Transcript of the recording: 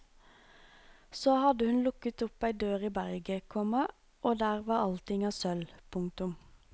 Så hadde hun lukket opp ei dør i berget, komma og der var allting av sølv. punktum